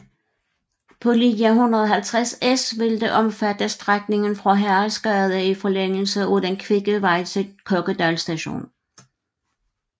På linje 150S vil det omfatte strækningen fra Haraldsgade i forlængelse af Den kvikke vej til Kokkedal st